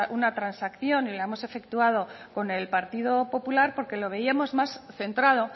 una transacción y la hemos efectuado con el partido popular porque lo veíamos más centrado